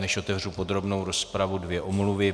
Než otevřu podrobnou rozpravu, dvě omluvy.